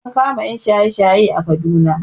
An kama ƴan shaye shaye a Kaduna